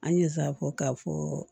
An ye a fɔ k'a fɔ